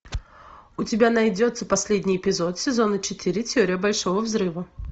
у тебя найдется последний эпизод сезона четыре теория большого взрыва